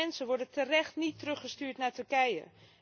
Kwetsbare mensen worden terecht niet teruggestuurd naar Turkije.